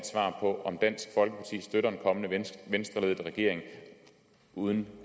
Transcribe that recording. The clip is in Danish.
svar på om dansk folkeparti støtter en kommende venstreledet regering uden